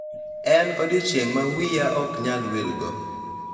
En odiechieng' ma wiya ok anyal wilgo